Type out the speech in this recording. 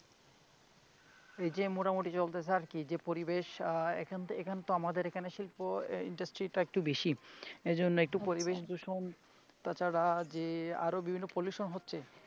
এই যে মোটামুটি চলতেছে আর কি যে পরিবেশ আহ এখানে এখানে আমাদের এখানে শিল্প আহ industry টা একটু বেশি এজন্য একটু পরিবেশ দূষণ তাছাড়া যে আরো বিভিন্ন pollution হচ্ছে.